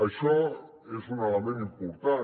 això és un element important